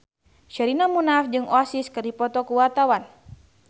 Sherina Munaf jeung Oasis keur dipoto ku wartawan